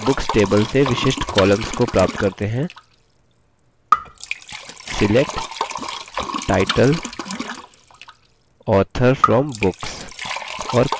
चलिए books table से विशिष्ट columns को प्राप्त करते हैंselect title author from books